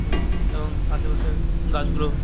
হুম এবং আশেপাশের গাছগুলো--